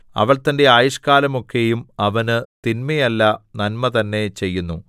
അവൾ തന്റെ ആയുഷ്ക്കാലമൊക്കെയും അവന് തിന്മയല്ല നന്മ തന്നെ ചെയ്യുന്നു